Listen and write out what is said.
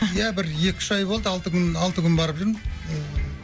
иә бір екі үш ай болды алты күн алты күн барып жүрмін